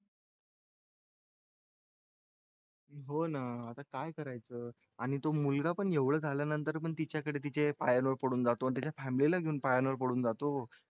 हो ना आता काय करायचं आणि तो मुलगा पण एवढं झाल्यानंतर पण तिच्याकडे तिच्या पायावर पडून जातो आणि त्याच्या family ला घेऊन पायावर पडून जातो.